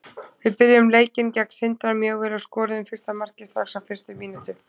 Við byrjuðum leikinn gegn Sindra mjög vel og skoruðum fyrsta markið strax á fyrstu mínútu.